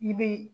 I be